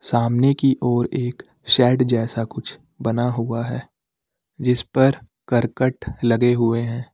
सामने की ओर एक शेड जैसा कुछ बना हुआ है जिस पर करकट लगे हुए हैं।